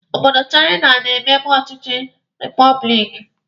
Obodo Chaina na-emebu ọchịchị repọblikanụ.